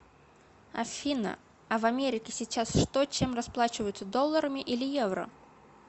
афина а в америке сейчас что чем расплачиваются долларами или евро